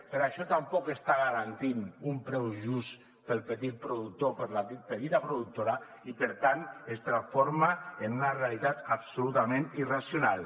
per això tampoc està garantint un preu just per al petit productor per a la petita productora i per tant es transforma en una realitat absolutament irracional